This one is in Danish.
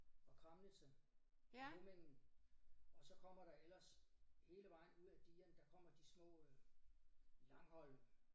Og Kramnitze og Hummingen og så kommer der ellers hele vejen ud af digerne der kommer de små øh langholme